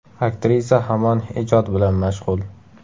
Aktrisa hamon ijod bilan mashg‘ul.